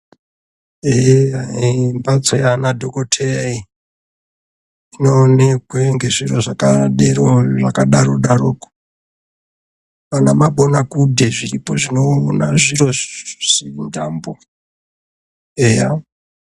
Mbatso yaana dhokotheya iyi inoonekwe ngezviro zvakadaro daroko, ana mabonakudhe zviripo zvinoona zviro zvisingambo eya